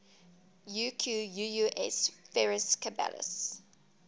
equus ferus caballus